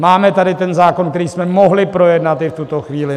Máme tady ten zákon, který jsme mohli projednat i v tuto chvíli.